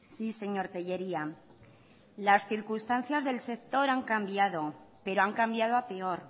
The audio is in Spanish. sí señor tellería las circunstancias del sector han cambiado pero han cambiado a peor